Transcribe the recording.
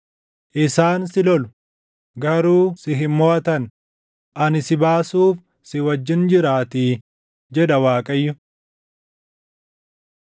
Isaan si lolu; garuu si hin moʼatan; ani si baasuuf si wajjin jiraatii” jedha Waaqayyo.